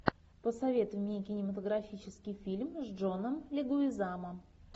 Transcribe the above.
посоветуй мне кинематографический фильм с джоном легуизамо